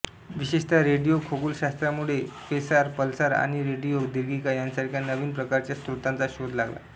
विशेषतः रेडिओ खगोलशास्त्रामुळे quasar pulsar आणि रेडिओ दीर्घिका यासारख्या नवीन प्रकारच्या स्रोतांचा शोध लागला